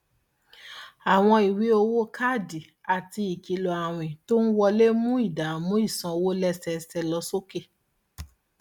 àwọn ìwé owó káàdì àti ìkìlọ àwìn tó ń wọlé ń mú ìdààmú ìsanwó lẹsẹẹsẹ lọ sókè